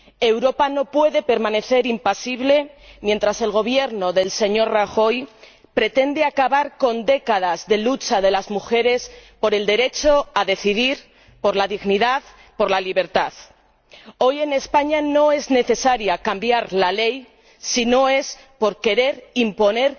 Europa no puede permanecer impasible mientras el Gobierno del señor Rajoy pretende acabar con décadas de lucha de las mujeres por el derecho a decidir, por la dignidad, por la libertad. Hoy en España no es necesario cambiar la ley si no es porque una